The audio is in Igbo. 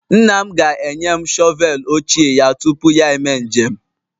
Nna m ga-enye m shọvel ochie ya tupu ya eme njem